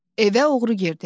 Evə oğru girdi.